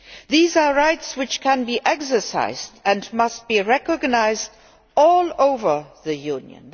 These are rights which can be exercised and must be recognised all over the Union.